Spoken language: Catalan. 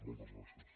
moltes gràcies